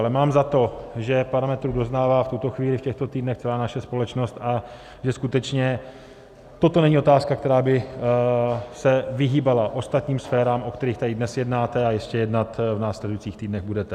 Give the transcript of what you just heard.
Ale mám za to, že parametrů doznává v tuto chvíli, v těchto týdnech celá naše společnost a že skutečně toto není otázka, která by se vyhýbala ostatním sférám, o kterých tady dnes jednáte a ještě jednat v následujících týdnech budete.